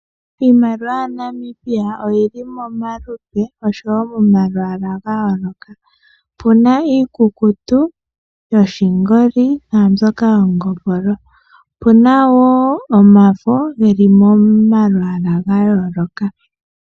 Iimaliwa yaNamibia oyili momaludhi oshowo momayala gayoloka opena omafo opena wo iikuku ya longwa mongopolo oyili wo momayal ga yoolokathana.